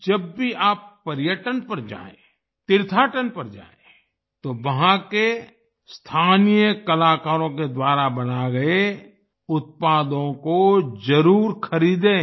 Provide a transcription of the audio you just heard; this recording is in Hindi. जब भी आप पर्यटन पर जाएं तीर्थाटन पर जाएं तो वहां के स्थानीय कलाकारों के द्वारा बनाए गए उत्पादों को जरुर खरीदें